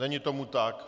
Není tomu tak.